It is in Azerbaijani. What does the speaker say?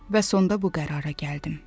Və sonda bu qərara gəldim.